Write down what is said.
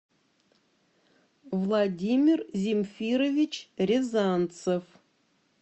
владимир земфирович рязанцев